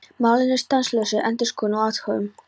Málin eru í stanslausri endurskoðun og athugun.